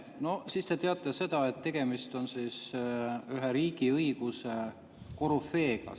No siis te teate seda, et tegemist on ühe riigiõiguse korüfeega.